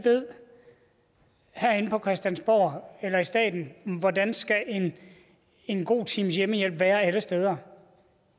herinde på christiansborg eller i staten ved hvordan en god times hjemmehjælp skal være alle steder